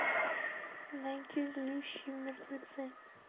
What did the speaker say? найди злющие мертвецы